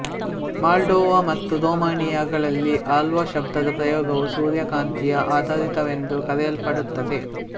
Moldova ಮತ್ತು ರೊಮಾನಿಯಾಗಳಲ್ಲಿ ಹಲ್ವಾ ಶಬ್ಧದ ಪ್ರಯೋಗವು ಸೂರ್ಯಕಾಂತಿಯ ಆಧಾರಿತವೆಂದು ಕರೆಯಲ್ಪಡುತ್ತದೆ